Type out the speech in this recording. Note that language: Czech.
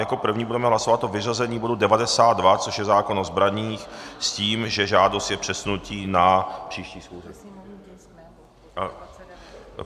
Jako první budeme hlasovat o vyřazení bodu 92, což je zákon o zbraních, s tím, že žádostí je přesunutí na příští schůzi...